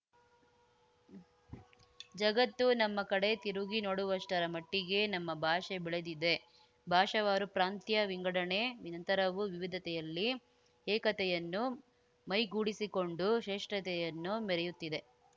ಜಗತ್ತು ನಮ್ಮ ಕಡೆ ತಿರುಗಿ ನೋಡುವಷ್ಟರ ಮಟ್ಟಿಗೆ ನಮ್ಮ ಭಾಷೆ ಬೆಳೆದಿದೆ ಭಾಷಾವಾರು ಪ್ರಾಂತ್ಯ ವಿಂಗಡಣೆ ನಂತರವೂ ವಿವಿಧತೆಯಲ್ಲಿ ಏಕತೆಯನ್ನು ಮೈಗೂಡಿಸಿಕೊಂಡು ಶ್ರೇಷ್ಠತೆಯನ್ನು ಮೆರೆಯುತ್ತಿದೆ